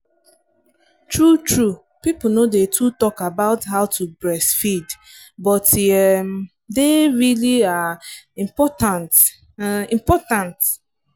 true truepeople no day too talk about how to breastfeed but e um day really um important um important